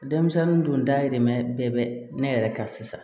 Denmisɛnnin dun dayirimɛ bɛɛ bɛ ne yɛrɛ kan sisan